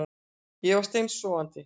Ég var steinsofandi